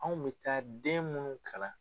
Anw bi taa den munnu kalan